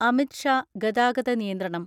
Amit Shah ഗതാഗതനിയന്ത്രണം